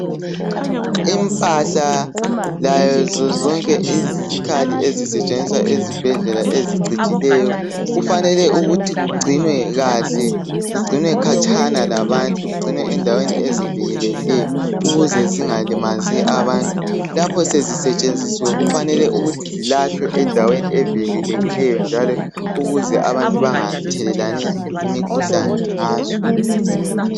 Impahla lazo zonke izikhali ezisetshenziswa ezibhedlela ezicijileyo kufanele ukuthi kugcinwe kahle kugcinwe khatshana labantu kugcinwe endaweni ezivikelekileyo ukuze zingalimazi abantu. Lapho sezisetshenzisiwe kufanele ukuthi zilahlwe endaweni evikelekileyo njalo ukuze abantu bangathelelani imikhuhlane ngazo.